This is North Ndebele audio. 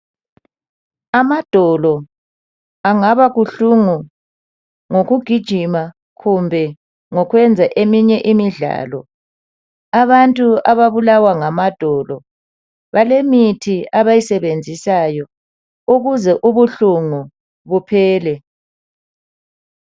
Amadolo angaba buhlungu ngokugijima kumbe ngokwenza eminye imidlalo abantu ababulalwa ngamadolo balomithi abayisebenzisayo ukuze ubuhlungu buphele